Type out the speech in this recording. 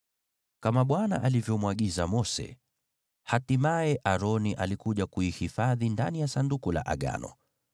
Kama Bwana alivyomwagiza Mose, hatimaye Aroni alikuja kuihifadhi ndani ya Sanduku la Ushuhuda.